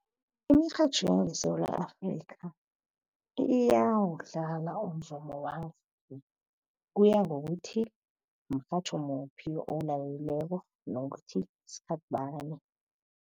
Imirhatjho yangeSewula Afrika iyawudlala umvumo kuya ngokuthi mrhatjho muphi owulaleleko, nokuthi sikhathibani.